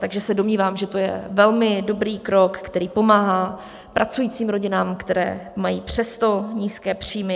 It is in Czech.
Takže se domnívám, že to je velmi dobrý krok, který pomáhá pracujícím rodinám, které mají přesto nízké příjmy.